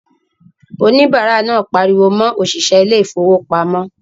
Òníbárà náà pariwo mọ òṣìṣẹ́ ilé ìfowópamọ́